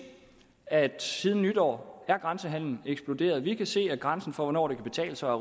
at siden nytår er grænsehandelen eksploderet vi kan se at grænsen for hvornår det kan betale sig